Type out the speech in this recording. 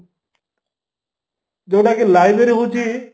ଯୋଉଟା କି library ହଉଚି